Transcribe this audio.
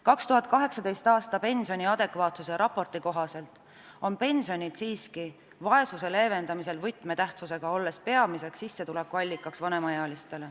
2018. aasta pensioni adekvaatsuse raporti kohaselt on pensionid siiski vaesuse leevendamisel võtmetähtsusega, olles vanemaealiste peamine sissetulekuallikas.